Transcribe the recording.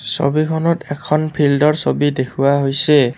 ছবিখনত এখন ফিল্ডৰ ছবি দেখুওৱা হৈছে।